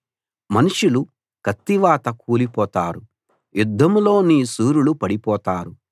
మనుషులు కత్తివాత కూలి పోతారు యుద్ధంలో నీ శూరులు పడిపోతారు